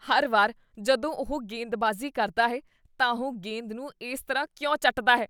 ਹਰ ਵਾਰ ਜਦੋਂ ਉਹ ਗੇਂਦਬਾਜ਼ੀ ਕਰਦਾ ਹੈ ਤਾਂ ਉਹ ਗੇਂਦ ਨੂੰ ਇਸ ਤਰ੍ਹਾਂ ਕਿਉਂ ਚੱਟਦਾ ਹੈ?